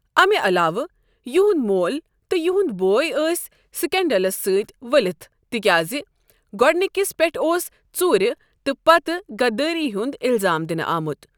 امہِ علاوٕ ، یہنٛد مول تہٕ یہنٛد بوے ٲسۍ سِکینڈلس سۭتۍ ؤلِتھ تِکیازِ گۅڈنکِس پٮ۪ٹھ اوس ژوٗرِ تہٕ پتہٕ غدٲری ہنٛد اِلزام دِنہٕ آمت۔